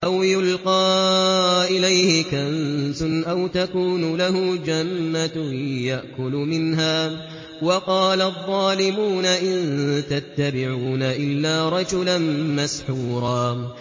أَوْ يُلْقَىٰ إِلَيْهِ كَنزٌ أَوْ تَكُونُ لَهُ جَنَّةٌ يَأْكُلُ مِنْهَا ۚ وَقَالَ الظَّالِمُونَ إِن تَتَّبِعُونَ إِلَّا رَجُلًا مَّسْحُورًا